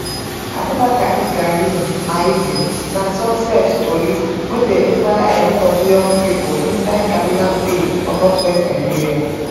abubakar ibrahim maidi na success tori wey dey inspire a lot of young pipo inside kaduna state for northwest nigeria